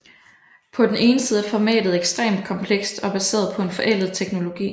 På den ene side er formatet ekstremt komplekst og baseret på en forældet teknologi